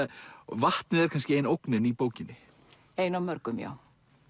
vatnið er kannski ein ógnin í bókinni ein af mörgum já